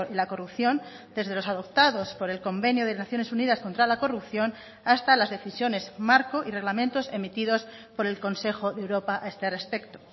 la corrupción desde los adoptados por el convenio de naciones unidas contra la corrupción hasta las decisiones marco y reglamentos emitidos por el consejo de europa a este respecto